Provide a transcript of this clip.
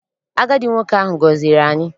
Agadi nwoke ahụ gọziri anyị.